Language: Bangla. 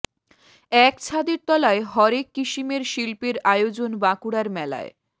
এক ছাদের তলায় হরেক কিসিমের শিল্পের আয়োজন বাঁকুড়ার মেলায়